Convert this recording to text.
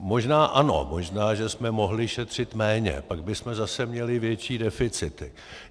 Možná ano, možná že jsme mohli šetřit méně, pak bychom zase měli větší deficity.